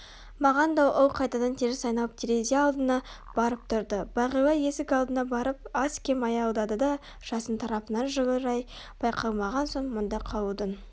маған да ол қайтадан теріс айналып терезе алдына барып тұрды бағила есік алдына барып аз-кем аялдады да жасын тарапынан жылы рай байқалмаған соң мұнда қалудың